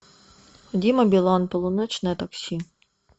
дима билан полуночное такси